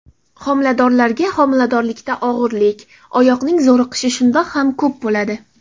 Xomiladorlarga Xomiladorlikda og‘irlik, oyoqning zo‘riqishi shundoq ham ko‘p bo‘ladi.